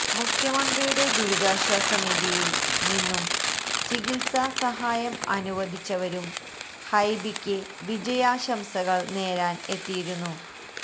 മുഖ്യമന്ത്രിയുടെ ദുരിതാശ്വാസ നിധിയില് നിന്നും ചികിത്സാ സഹായം അനുവദിച്ചവരും ഹൈബിക്ക് വിജയാശംസകള് നേരാന് എത്തിയിരുന്നു